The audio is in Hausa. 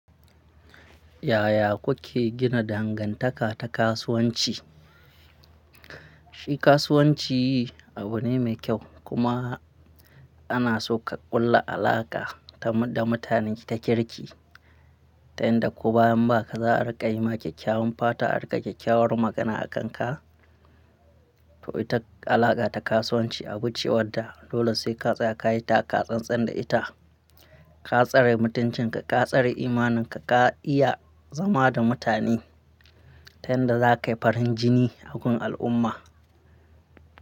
Yaya kuke gina dangantaka ta kasuwanci? Shi kasuwanci abu ne mai kyau kuma Anaso ka kulla alaƙa ta da mutane ta kirki. Ta yanda ko bayan ba ka za'a rikayima kek-kewan fata a ringa kek-kewan magana a kanka. To ita alaka ta kasuwanci abu ce wadda dole sai ka tsaya ka yi ta, ka tsantsan da ita, ka tsare mutuncin ka, ka tsare imaninka, ka iya zama da mutane, tayan da za ka yi farin jini a gun al'umma.